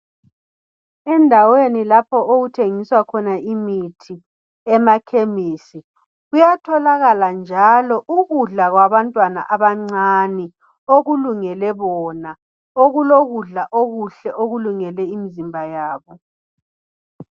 Endaweni lapho okuthengiswa khona imithi emakhemisi .Kuyatholakala njalo ukudla kwabantwana abancane okulungele bona okulokudla okuhle okulungele imzimba yabo.